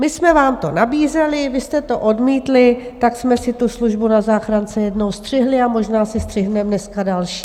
My jsme vám to nabízeli, vy jste to odmítli, tak jsme si tu službu na záchrance jednou střihli a možná si střihneme dneska další.